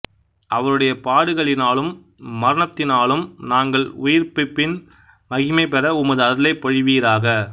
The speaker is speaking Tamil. அவருடைய பாடுகளினாலும் மரணத்தினாலும் நாங்கள் உயிர்ப்ப்பின் மகிமை பெற உமது அருளைப் பொழிவீராக